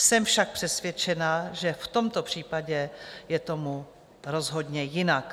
Jsem však přesvědčená, že v tomto případě je tomu rozhodně jinak.